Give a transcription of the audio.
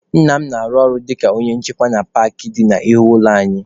Nna m na-arụ ọrụ dịka onye nche na paakị dị n'ihu ụlọ anyị.